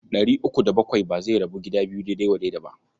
Ɗari uku da bakwai ba zai rabu gida biyu daidai wa daida ba.